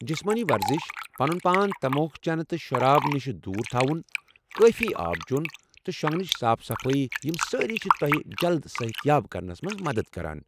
جسمٲنی ورزِش، پنن پان تموك چنہٕ تہٕ شراب نوشی نِشہٕ دوٗر تھوُن، کٲفی آب چوٚن، تہٕ شوگنٕچ صاف صَفٲیی، یم سٲری چھ تۄہہ جلد صحت یاب کرنس منٛز مدتھ کران۔